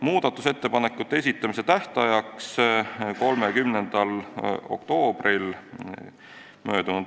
Muudatusettepanekute esitamise tähtajaks 30. oktoobril m.